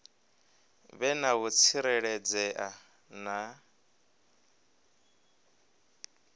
vhe na u tsireledzea na